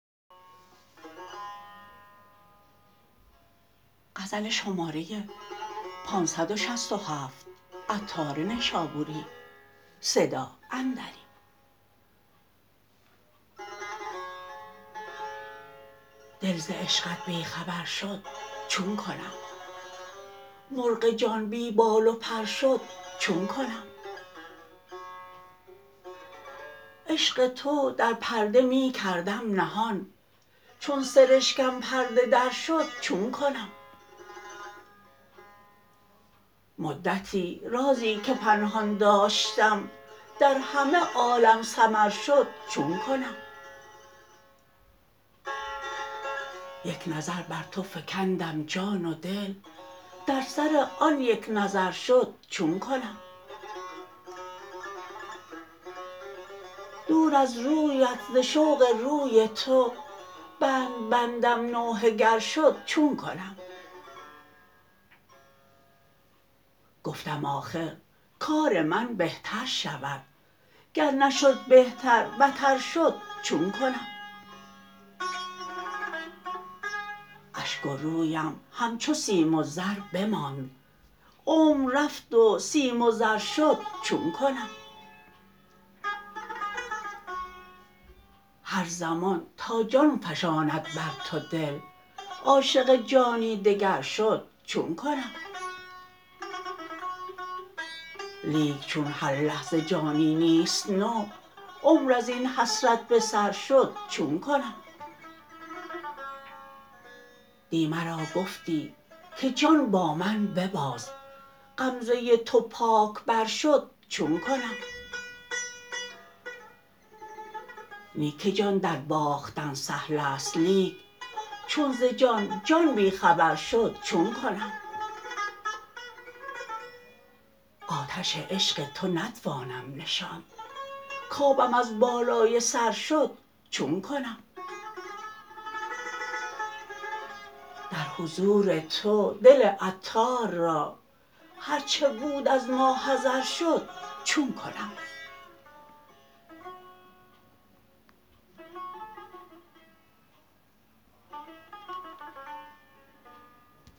دل ز عشقت بی خبر شد چون کنم مرغ جان بی بال و پر شد چون کنم عشق تو در پرده می کردم نهان چون سرشکم پرده در شد چون کنم مدتی رازی که پنهان داشتم در همه عالم سمر شد چون کنم یک نظر بر تو فکندم جان و دل در سر آن یک نظر شد چون کنم دور از رویت ز شوق روی تو بند بندم نوحه گر شد چون کنم گفتم آخر کار من بهتر شود گر نشد بهتر بتر شد چون کنم اشک و رویم همچو سیم و زر بماند عمر رفت و سیم و زر شد چون کنم هر زمان تا جان فشاند بر تو دل عاشق جانی دگر شد چون کنم لیک چون هر لحظه جانی نیست نو عمر ازین حسرت به سر شد چون کنم دی مرا گفتی که جان با من بباز غمزه تو پاک بر شد چون کنم نی که جان درباختن سهل است لیک چون ز جان جان بی خبر شد چون کنم آتش عشق تو نتوانم نشاند کابم از بالای سر شد چون کنم در حضور تو دل عطار را هرچه بود از ماحضر شد چون کنم